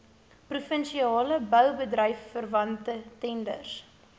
provinsiale boubedryfverwante tenders